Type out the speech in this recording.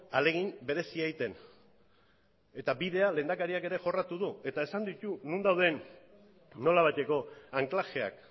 ahalegin berezia egiten eta bidea lehendakariak ere jorratu du eta esan ditu non dauden nolabaiteko anklajeak